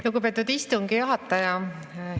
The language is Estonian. Lugupeetud istungi juhataja!